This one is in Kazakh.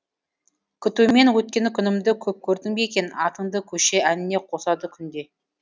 күтумен өткен күнімді көп көрдің бе екен атыңды көше әніне қосады күнде